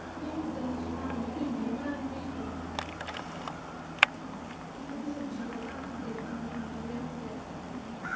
ਨਹੀਂ ਉਦਣ ਅਸੀਂ ਭਿੰਡੀਆਂ ਬਣਾ ਲਵਾਂਗੀ ਇੱਕ ਇੱਕ ਅੱਧੀ ਸਬਜੀ ਹੋਰ ਬਣਾ ਲਵਾਂਗੀ ਦਹੀਂ ਲੈ ਆਵਾਗੀ ਰੈਤਾ ਪਾ ਲਾ ਗੀ।